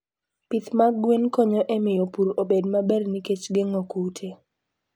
Pith mag gwen konyo e miyo pur obed maber nikech gengo kute.